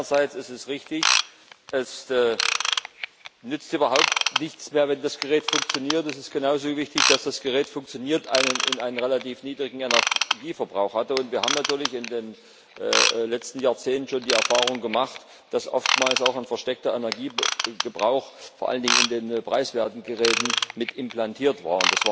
Einerseits ist es richtig, es nützt überhaupt nichts mehr, wenn das Gerät nur funktioniert, es ist genauso wichtig, dass das Gerät funktioniert und einen relativ niedrigen Energieverbrauch hat, und wir haben natürlich im letzten Jahrzehnt schon die Erfahrung gemacht, dass oftmals auch ein versteckter Energieverbrauch vor allen Dingen in den preiswerten Geräten mit implantiert war.